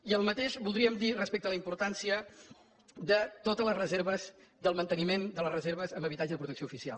i el mateix voldríem dir respecte a la importància de totes les reserves del manteniment de les reserves en habitatge de protecció oficial